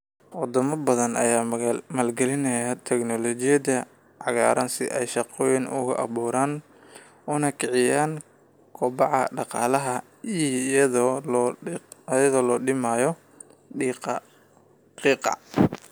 Wadamo badan ayaa maalgalinaya tignoolajiyada cagaaran si ay shaqooyin ugu abuuraan una kiciyaan kobaca dhaqaalaha iyada oo la dhimayo qiiqa qiiqa.